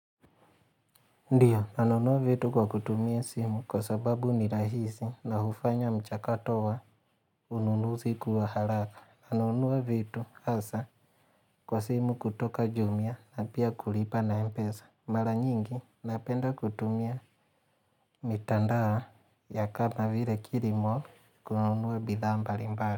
Ndiyo, nanunua vitu kwa kutumia simu kwa sababu ni rahisi na hufanya mchakato wa ununuzi kuwa haraka. Na nunua vitu, hasa, kwa simu kutoka jumia na pia kulipa na mpesa. Mara nyingi, napenda kutumia mitandao ya kama vile kilimall kununua bidhaa mbali mbali.